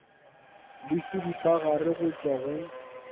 le seripagare go tšwa go